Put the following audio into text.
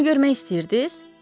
Onu görmək istəyirdiz?